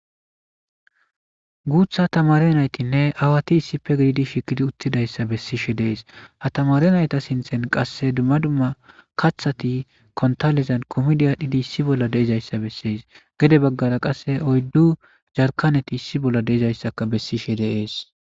guutha tamare naytinne awati issife gididi shikidi uttidayssa bessishe dees hatamare nayta sinthen qasse dumma dumma kathati kontalizan komidiadhidi issi bolla deezayssa bessees gede baggara qasse oyddu jarkaneti issi bolla deezayssaka bessishe deees